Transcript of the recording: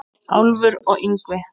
Álfur og Yngvi